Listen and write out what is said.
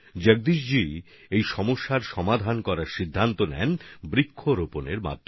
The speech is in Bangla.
জগদীশজি বৃক্ষরোপণের মাধ্যমে এই সংকট সমাধানের উপায় বের করার কথা ভাবেন